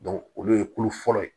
olu ye kulo fɔlɔ ye